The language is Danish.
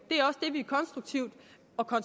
og kunne